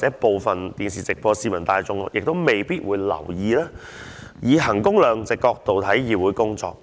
收看電視直播的市民未必會留意，可以衡工量值的角度來看議會工作。